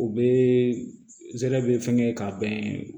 U bɛ zɛgɛrɛ be fɛngɛ k'a bɛn